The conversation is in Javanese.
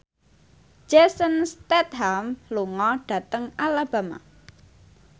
Jason Statham lunga dhateng Alabama